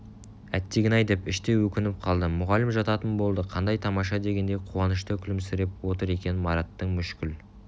әттеген-ай деп іштей өкініп қалды мұғалім жататын болды қандай тамашадегендей қуанышты күлімсіреп отыр екен мараттың мүшкіл